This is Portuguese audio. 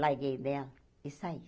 larguei dela e saí.